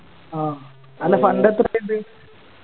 ആ അല്ല Fund എത്ര ഇണ്ട്